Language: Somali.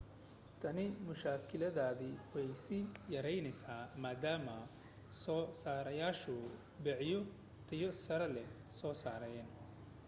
tani mushkiladnimadeedii way sii yaraanaysaa maadaama soo saarayaashu bikaacyo tayo sare leh soo saarayaan